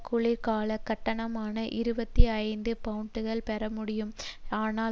குளிர் கால கட்டணமான இருபத்தி ஐந்து பவுண்டுகள் பெறப்படமுடியும் ஆனால்